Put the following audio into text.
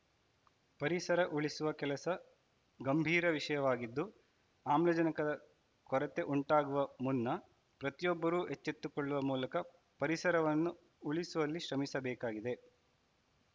ಪರಿಸರ ಉಳಿಸುವ ಕೆಲಸ ಗಂಭೀರ ವಿಷಯವಾಗಿದ್ದು ಆಮ್ಲಜನಕದ ಕೊರತೆ ಉಂಟಾಗುವ ಮುನ್ನ ಪ್ರತಿಯೊಬ್ಬರೂ ಎಚ್ಚೆತ್ತುಕೊಳ್ಳುವ ಮೂಲಕ ಪರಿಸರವನ್ನು ಉಳಿಸುವಲ್ಲಿ ಶ್ರಮಿಸಬೇಕಾಗಿದೆ